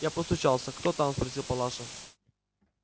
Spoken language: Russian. я постучался кто там спросил палаша